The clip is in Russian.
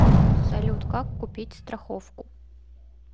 салют как купить страховку